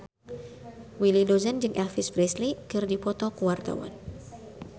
Willy Dozan jeung Elvis Presley keur dipoto ku wartawan